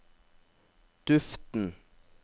duften